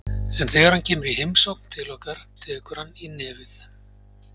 En þegar hann kemur í heimsókn til okkar tekur hann í nefið.